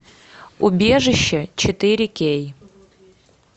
убежище четыре кей